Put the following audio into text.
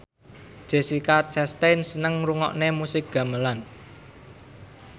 Jessica Chastain seneng ngrungokne musik gamelan